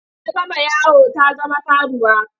Ta gama yawo ta zama karuwa.